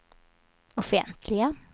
offentliga